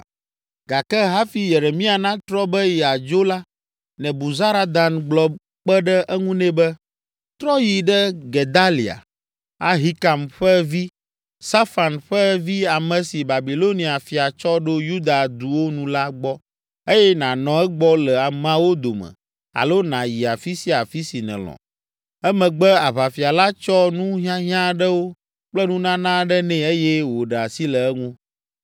Gake hafi Yeremia natrɔ be yeadzo la, Nebuzaradan gblɔ kpe ɖe eŋu nɛ be, “Trɔ yi ɖe Gedalia, Ahikam ƒe vi, Safan ƒe vi ame si Babilonia fia tsɔ ɖo Yuda duwo nu la gbɔ eye nànɔ egbɔ le ameawo dome alo nàyi afi sia afi si nèlɔ.” Emegbe aʋafia la tsɔ nu hiahiã aɖewo kple nunana aɖe nɛ eye wòɖe asi le eŋu.